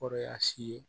Kɔrɔ y'a si ye